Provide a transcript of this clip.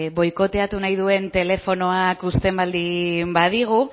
boikoteatu nahi duen telefonoak uzten baldin badigu